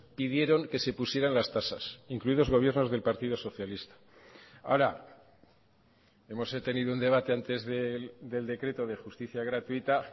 pidieron que se pusieran las tasas incluidos gobiernos del partido socialista ahora hemos tenido un debate antes del decreto de justicia gratuita